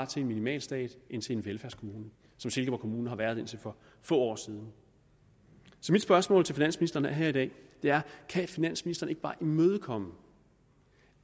til en minimalstat end til en velfærdskommune som silkeborg kommune har været indtil for få år siden så mit spørgsmål til finansministeren her i dag er kan finansministeren ikke bare imødekomme